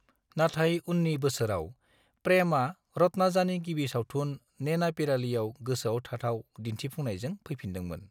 नाथाय उन्नि बोसोराव, प्रेमआ रत्नाजानि गिबि सावथुन, नेनापिरालीआव गोसोआव थाथाव दिन्थिफुंनायजों फैफिनदोंमोन।